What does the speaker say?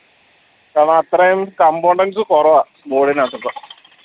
കാരണം അത്രയും components കുറവാ board ന് അകത്തൊക്കെ